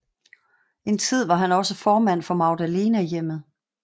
En tid var han også formand for Magdalenehjemmet